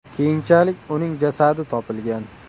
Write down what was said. Keyinchalik uning jasadi topilgan.